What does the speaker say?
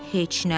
Heç nə.